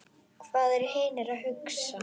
Hvað eru hinir að hugsa?